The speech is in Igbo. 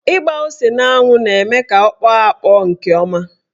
Ịgba ose n'anwụ na-eme ka ọ kpọọ akpọ nke ọma.